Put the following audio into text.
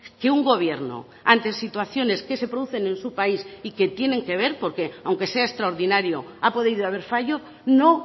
que un gobierno ante situaciones que se producen en su país y que tienen que ver porque aunque sea extraordinario ha podido haber fallo no